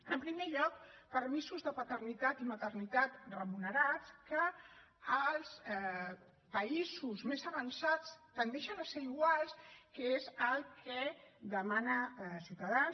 en primer lloc permisos de paternitat i maternitat remunerats que als països més avançats tendeixen a ser iguals que és el que demana ciutadans